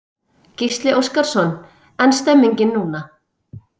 Gísli Óskarsson: En stemningin núna?